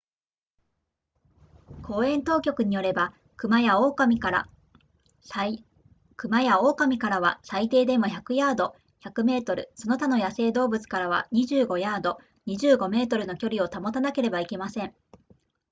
公園当局によれば熊や狼からは最低でも100ヤード100メートルその他の野生動物からは25ヤード25メートルの距離を保たなければいけません